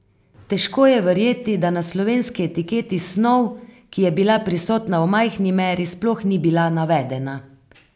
Težko je verjeti, da na slovenski etiketi snov, ki je bila prisotna v majhni meri, sploh ni bila navedena.